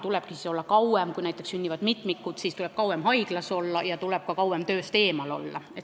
Kui näiteks sünnivad mitmikud, siis tuleb emal kauem haiglas olla ja ka kauem tööst eemal olla.